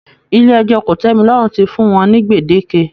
Ilé ẹjọ́ kò-tẹ́-mi-lọ́rùn ti fún wọ́n ní gbèdéke